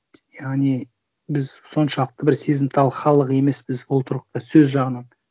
яғни біз соншалықты бір сезімтал халық емеспіз ол тұрғыда сөз жағынан